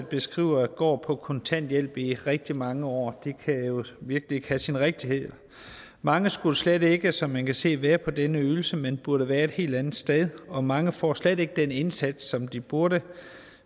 beskriver går på kontanthjælp i rigtig mange år det kan jo virkelig ikke have sin rigtighed mange skulle slet ikke som man kan se være på den ydelse men burde være et helt andet sted og mange får slet ikke den indsats som de burde